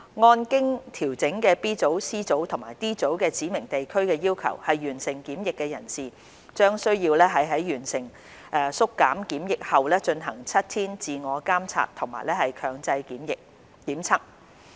按經調整的 B 組、C 組及 D 組指明地區的要求完成檢疫的人士，將需要在完成經縮減的檢疫後進行7天自我監察及強制檢測。